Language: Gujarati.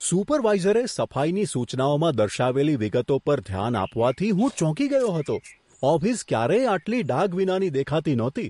સુપરવાઇઝરે સફાઈની સૂચનાઓમાં દર્શાવેલી વિગતો પર ધ્યાન આપવાથી હું ચોંકી ગયો હતો. ઓફિસ ક્યારેય આટલી ડાઘ વિના ની દેખાતી નહોતી!